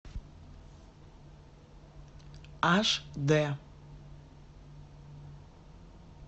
аш д